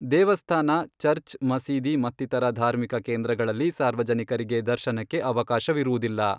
ದೇವಸ್ಥಾನ, ಚರ್ಚ್, ಮಸೀದಿ ಮತ್ತಿತರ ಧಾರ್ಮಿಕ ಕೇಂದ್ರಗಳಲ್ಲಿ ಸಾರ್ವಜನಿಕರಿಗೆ ದರ್ಶನಕ್ಕೆ ಅವಕಾಶವಿರುವುದಿಲ್ಲ.